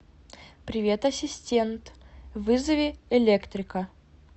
привет ассистент вызови электрика